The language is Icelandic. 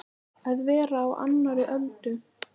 Að vera á annarri öldu